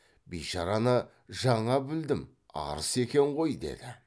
бишараны жаңа білдім арыс екен ғой деді